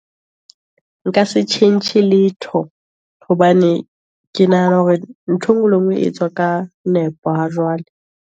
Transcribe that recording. Nka se tjhentjhe letho, hobane ke nahana hore nthwe ngwe le ngwe, e etswa ka nepo, ha jwale.